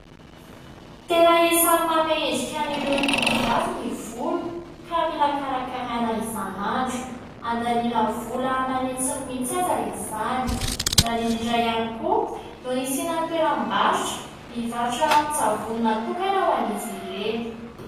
Tena isany manome endrika an'ireo tovovavy ny volo ka mila karakaraina isanandro. Andaniana vola aman'hetsiny mihitsy aza izany. Izany indrindra ihany koa no nisiana toeram-barotra mivarotra ranon-tsavony natokana ho an'izy ireny.